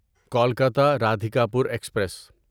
Kolkata Radhikapur express